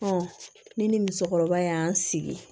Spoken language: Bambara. ne ni musokɔrɔba y'an sigi